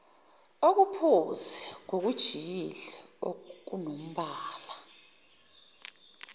okuphuzi ngokujiyile okunombala